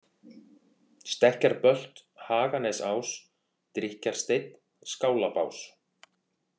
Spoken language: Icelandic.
Stekkjarbölt, Haganesás, Drykkjarsteinn, Skálabás